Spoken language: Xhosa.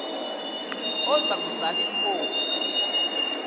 oza kuzal inkosi